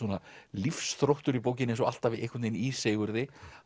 lífsþróttur í bókinni eins og alltaf einhvern veginn í Sigurði